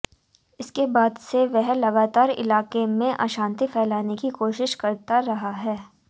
इसके बाद से वह लगातार इलाके में अशांति फैलाने की कोशिश करता रहा है